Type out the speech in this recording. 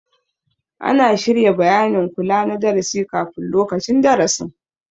Ana shirya bayanin kula na darasi kafin lokacin darasin